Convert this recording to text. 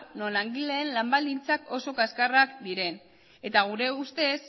non langileen lan baldintzak oso kaxkarrak diren eta gure ustez